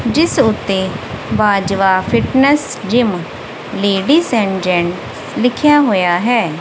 ਜਿਸ ਉੱਤੇ Bajwa fitness gym lady and gent ਲਿਖਿਆ ਹੋਇਆ ਹੈ।